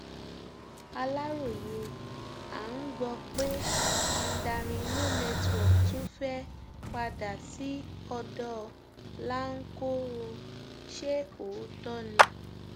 aláròye à ń gbọ pé mandarin no network tún fẹẹ padà sí ọdọ láńkó ó ṣe òótọ ni